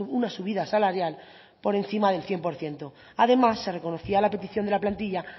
una subida salarial por encima del cien por ciento además se reconocía la petición de la plantilla